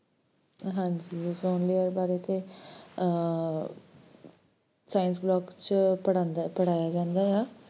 ਹਾਂਜੀ, ozone layer ਬਾਰੇ ਤੇ ਆਹ science block ਚ ਪੜ੍ਹਦਾ~ਪੜ੍ਹਾਇਆ ਜਾਂਦਾ ਆ